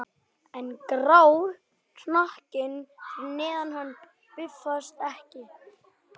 En grár hnakkinn fyrir neðan hann bifast ekki.